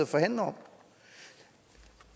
forhandler om